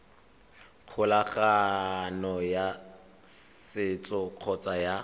kgolagano ya setso kgotsa ya